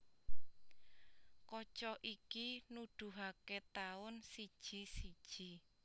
Kaca iki nuduhaké taun siji siji